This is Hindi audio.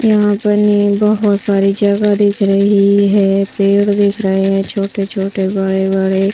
यहाँ पर नई बहोत सारी जगह दिख रही है पेड़ दिख रहे है छोटे-छोटे बड़े-बड़े--